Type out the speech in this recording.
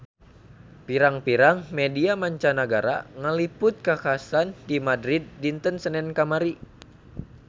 Pirang-pirang media mancanagara ngaliput kakhasan di Madrid dinten Senen kamari